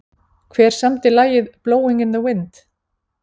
Hver samdi lagið Blowing in the wind?